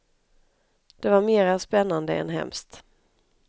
Det var mera spännande än hemskt.